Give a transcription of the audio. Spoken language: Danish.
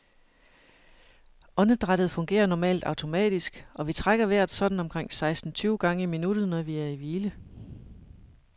Åndedrættet fungerer normalt automatisk, og vi trækker vejret sådan omkring seksten tyve gange i minuttet, når vi er i hvile.